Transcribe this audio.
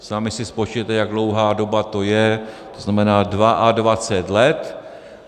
Sami si spočítejte, jak dlouhá doba to je, to znamená 22 let.